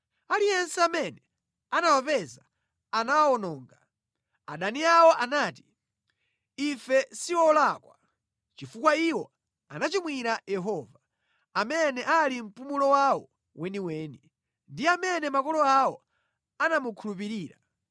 Aliyense amene anawapeza anawawononga; adani awo anati, ‘Ife si olakwa, chifukwa iwo anachimwira Yehova, amene ali mpumulo wawo weniweni ndi amene makolo awo anamukhulupirira.’